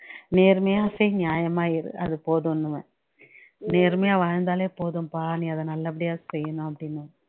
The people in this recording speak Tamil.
நேர்மையா செய் நியாயமா இரு அது போதுன்னுவேன் நேர்மையா வாழ்ந்தாலே போதும்பா நீ அதை நல்லபடியா செய்யணும் அப்படின்னேன்